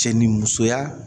Cɛ ni musoya